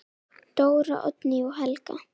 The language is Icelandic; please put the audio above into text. Dóra, Oddný og Helga.